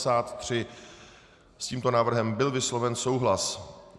S tímto návrhem byl vysloven souhlas.